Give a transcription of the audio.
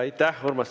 Aitäh, Urmas!